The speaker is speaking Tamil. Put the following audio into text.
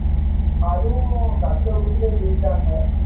அதுவும் கஷ்டப்பட்டுதான் ஜெய்சாங்க